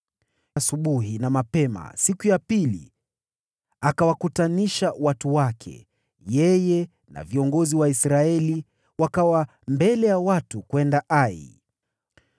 Asubuhi na mapema siku iliyofuatia, Yoshua akawakutanisha watu wake, na yeye na viongozi wa Israeli wakawa mbele ya watu kwenda Ai.